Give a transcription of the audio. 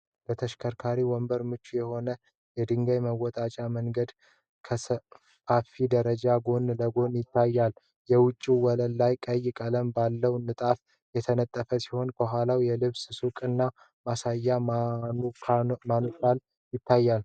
ለተሽከርካሪ ወንበር ምቹ የሆነ የድንጋይ መወጣጫ መንገድ ከሰፋፊ ደረጃዎች ጎን ለጎን ይታያል። የውጭው ወለል ቀይ ቀለም ባለው ንጣፍ የተነጠፈ ሲሆን፣ ከኋላው የልብስ ሱቅና ማሳያ ማኑካኖች ይታያሉ።